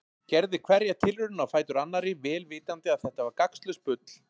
Gerði hverja tilraunina á fætur annarri vel vitandi að þetta var gagnslaust bull.